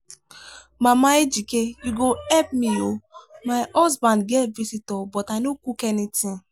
mama ejike you go help me oo my husband get visitor but i no cook anything.